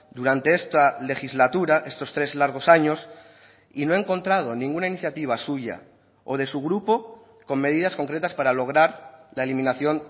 durante esta legislatura estos tres largos años y no he encontrado ninguna iniciativa suya o de su grupo con medidas concretas para lograr la eliminación